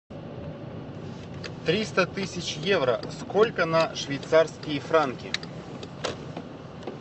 триста тысяч евро сколько на швейцарские франки